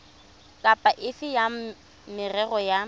kapa efe ya merero ya